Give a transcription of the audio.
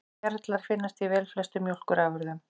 Gerlar finnast í velflestum mjólkurafurðum.